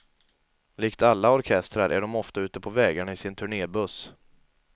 Likt alla orkestrar är de ofta ute på vägarna i sin turnébuss.